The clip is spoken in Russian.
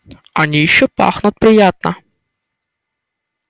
они ещё пахнут приятно